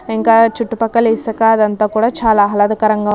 ఇంకా చుట్టుపక్కల ఇసుక అది అంతా కూడా చాలా ఆహ్లాదకరంగా ఉంది.